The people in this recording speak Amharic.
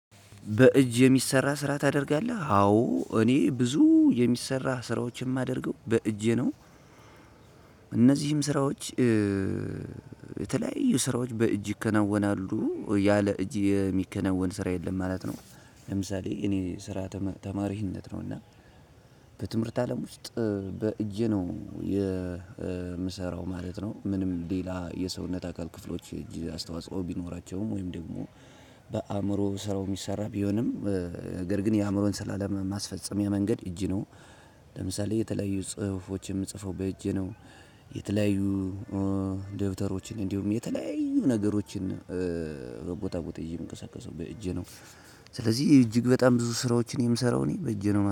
በእጅ የሚሰራ ስራ ታደርጋለህ አዎ እኔ ብዙ የሚሰራ ስራዎችን የማደርገው በእጄ ነው። እነዚህም ስራዎች የተለያዩ ስራዎች በእጅ ይከናወናሉ ያለ እጅ የሚከናወን ስራ የለም ማለት ነው። ለምሳሌ የእኔ ስራ ተማሪነት ነው እና በትምህርት አለም ውስጥ በእጄ ነው የምሰራው ማለት ነው። ምንም ሌላ የሰውነት አካል ክፍሎች አስተዋጽኦ ቢኖራቸውም ወይም ደግሞ በአእምሮ ስራው የሚሰራ ቢሆንም እግር ግን የአእምሮን ስራ ለማስፈጸሚያ መንገድ እጅ ነው። ለምሳሌ የተለያዩ ጽሁፎች የምጽፈው በእጄ ነው። የተለያዩ ደብተሮችን እንዲሁም የተለያዩ ነገሮችን ከቦታ ቦታ ይዤ የምንቀሳቀሰው በእጄ ነው። ስለዚህ እጅግ በጣም ብዙ ስራዎችን የምሰራው እኔ በእጄ ነው